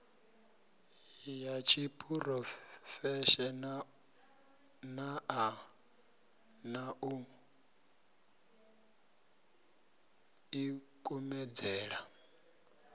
ya tshiphurofeshenaḽa na u ḓikumedzela